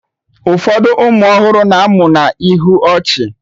Ụfọdụ ụmụ ọhụrụ na-amụ na ihu ọchị